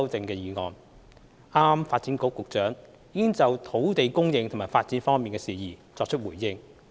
剛才發展局局長已就土地供應和發展方面的事宜作出回應。